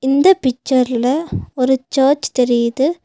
இந்த பிச்சர்ல ஒரு சர்ச் தெரியிது.